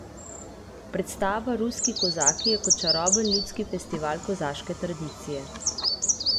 Predstava Ruski kozaki je kot čaroben ljudski festival kozaške tradicije.